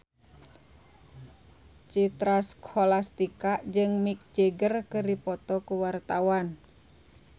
Citra Scholastika jeung Mick Jagger keur dipoto ku wartawan